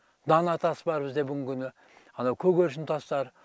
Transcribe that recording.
данатас бар бізде бүгінгі күні анау көгершінтастар